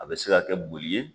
A bɛ se ka kɛ boli ye